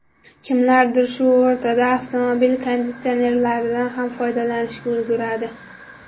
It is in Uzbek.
Kimlardir shu o‘rtada avtomobil konditsionerlaridan ham foydalanishga ulguradi.